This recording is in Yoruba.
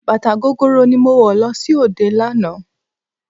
Bàtà gogoro ni mo wọ̀ lọ sí òde lánàá.